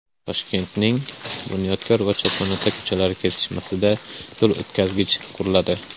Toshkentning Bunyodkor va Cho‘ponota ko‘chalari kesishmasida yo‘l o‘tkazgich quriladi.